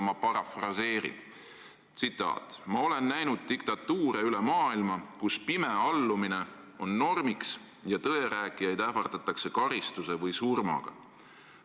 Ma parafraseerin tema tsitaati: "Ma olen näinud diktatuure üle maailma, kus pime allumine on normiks ja tõe rääkijaid ähvardatakse karistuse või surmaga.